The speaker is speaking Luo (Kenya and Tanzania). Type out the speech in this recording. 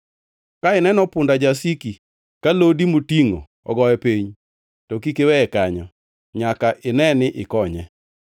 Ka ineno punda jasiki ka lodi motingʼo ogoye piny, to kik iweye kanyo; nyaka ine ni ikonye.